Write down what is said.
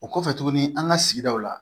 O kɔfɛ tuguni an ka sigidaw la